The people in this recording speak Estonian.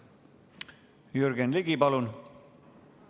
Jürgen Ligi, palun!